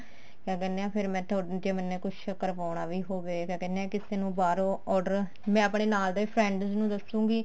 ਕਿਆ ਕਹਿਨੇ ਆ ਫ਼ੇਰ ਮੈਂ ਜੇ ਮੈਨੇ ਕੁੱਛ ਕਰਵਾਉਣਾ ਵੀ ਹੋਵੇ ਕਿਆ ਕਹਿਨੇ ਆ ਕਿਸੇ ਨੂੰ ਬਾਹਰੋਂ order ਮੈਂ ਆਪਣੇ ਨਾਲ ਦੇ friends ਨੂੰ ਦੱਸੂਗੀ